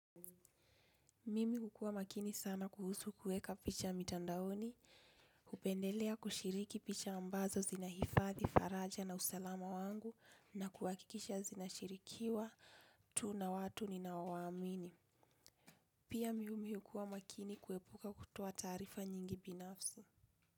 Mimi hukuwa makini sana kuhusu kuweka picha mitandaoni, hupendelea kushiriki picha ambazo zinahifadhi faraja na usalama wangu na kuhakikisha zinashirikiwa tu na watu ninaowaamini. Pia mimi hukuwa makini kuepuka kutoa taarifa nyingi binafsi.